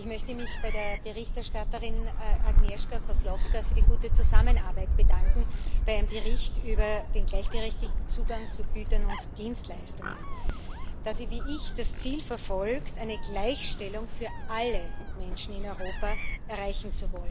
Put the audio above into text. Ich möchte mich bei der Berichterstatterin, Agnieszka Kozłowska Rajewicz, für die gute Zusammenarbeit bedanken bei ihrem Bericht über den gleichberechtigten Zugang zu Gütern und Dienstleistungen, da sie wie ich das Ziel verfolgt, eine Gleichstellung für alle Menschen in Europa zu erreichen.